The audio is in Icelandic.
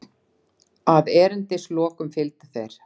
Að erindislokum fylgdu þeir